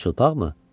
Çılpaqmı?